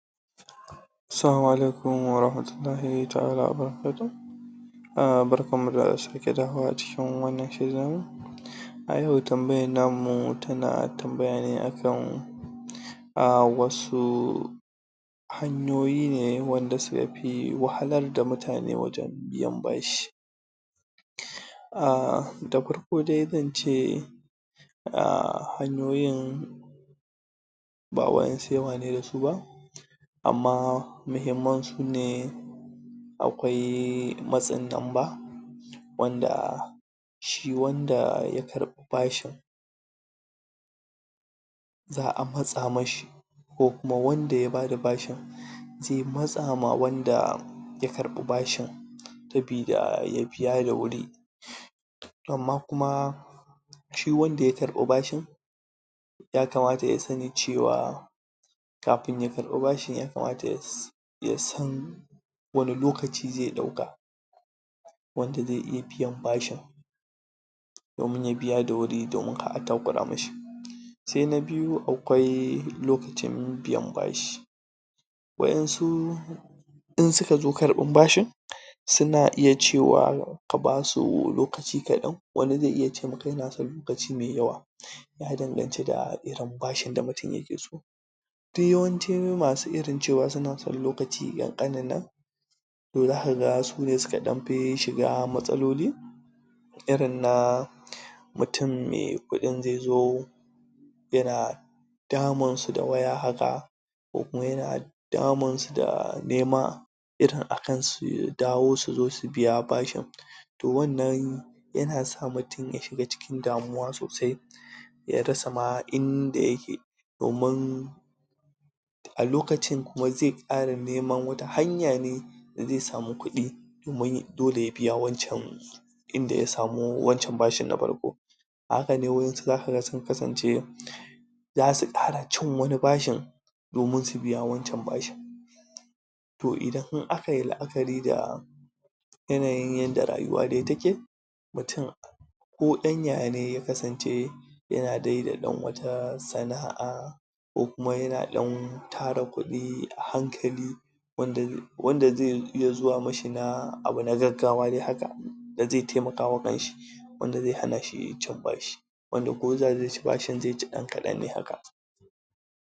salamu alaikum wa rahmatullahi ta'al wa barakatuhu barkan mu da sake dawowa a cikin wannan shirin a yau tambayan namu tana tambaya ne akan??? wasu hanyoyi ne wanda suka fi wahalar da mutane wajen biyan bashi??? da farko dai zan ce??? hanyoyin ba waɗansu yawa ne da su ba amma muhimman su ne akwai matsin lamba wanda shi wanda shi ya karɓi bashin za'a matsa mashi ko kuma wanda ya bada bashin zai matsa ma wanda ya karɓi bashin saboda ya biya da wuri amma kuma shi wanda ya karɓi bashin yakamata ya sani cewa kafin ya karɓi bashin yaamata???? ya san wane lokaci zai ɗauka wanda zai iya biyan bashin domin ya biya da wuri domin kar a takura mishi sai na biyu akwai lokacin biyan bashi waɗansu in suka zo karɓan bashin suna iya cewa ka basu lokaci kaɗan wani zai iya ce maka yana son lokaci mai yawa ya danganci da irin bashin da mutum yake so duk yawanci masu irin cewa suna son lokaci ƙanƙanin nan to zaka ga sune suka ɗan fi shiga matsaloli irin na mutum mai kuɗin zai zo yana damun su da waya haka ko kuma yana damun su da nema irin akan su dawo su zo su biya bashin to wannan yana sa mutum shiga cikin damuwa sosai ya rasa ma inda yake domin a lokacin kuma zai ƙara neman wata hanya ne da zai samu kuɗi domin dole ya biya wancan inda ya samu wancan bashin na farko a haka ne waɗansu zaka ga sun kasance zasu ƙara cin wani bashin domin su biya wancan bashin to idan akayi la'akari da yanayin yadda rayuwa dai take mutum ko ɗan yaya ne ya kasance yana dai da ɗan wata sana'a ko kuma yana ɗan tara kuɗi a hankali??? wanda zai iya zuwa mashi na abu na gaggawa dai haka da zai taimakawa kanshi wanda zai hana shi cin bashi wanda ko zai ci bashin zai ci ɗan kaɗan ne haka